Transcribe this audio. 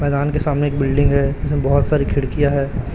मैदान के सामने एक बिल्डिंग है उसमें बहोत सारी खिड़कियां हैं।